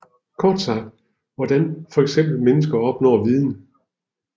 Kort sagt hvordan fx mennesket opnår viden